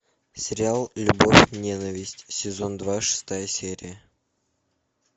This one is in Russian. сериал любовь и ненависть сезон два шестая серия